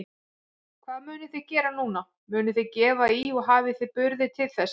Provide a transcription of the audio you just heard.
Hvað munuð þið gera núna, munuð þið gefa í og hafið þið burði til þess?